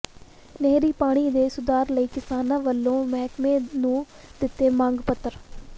ਨਹਿਰੀ ਪਾਣੀ ਦੇ ਸੁਧਾਰ ਲਈ ਕਿਸਾਨਾਂ ਵੱਲੋਂ ਮਹਿਕਮੇ ਨੂੰ ਦਿੱਤੇ ਮੰਗ ਪੱਤਰ